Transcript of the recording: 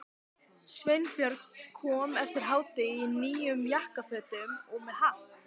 Sveinbjörn kom eftir hádegi í nýjum jakkafötum og með hatt.